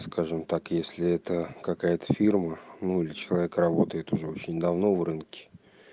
скажем так если это какая-то фирма ну или человек работает уже очень давно в рынке